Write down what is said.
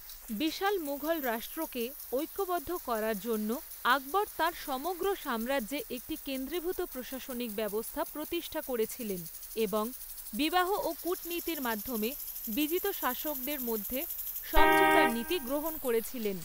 বিশাল মুঘল রাষ্ট্রকে ঐক্যবদ্ধ করার জন্য আকবর তাঁর সমগ্র সাম্রাজ্যে একটি কেন্দ্রীভূত প্রশাসনিক ব্যবস্থা প্রতিষ্ঠা করেছিলেন এবং বিবাহ ও কূটনীতির মাধ্যমে বিজিত শাসকদের মধ্যে সমঝোতার নীতি গ্রহণ করেছিলেন।